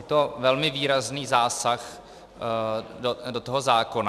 Je to velmi výrazný zásah do toho zákona.